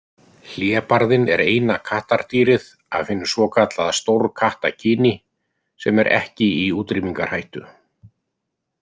Hlébarðinn er eina kattardýrið af hinu svokallaða stórkattakyni sem er ekki í útrýmingarhættu.